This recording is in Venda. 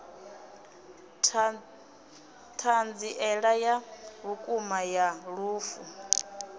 thanziela ya vhukuma ya lufu